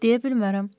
Deyə bilmərəm.